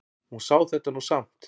Hún sá þetta nú samt.